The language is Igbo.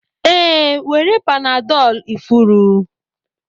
Ee, were panadol ifuru